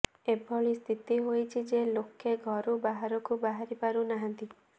ଏଭଳି ସ୍ଥିିତି ହୋଇଛି ଯେ ଲୋକେ ଘରୁ ବାହାରକୁ ବାହାରିପାରୁନାହାନ୍ତି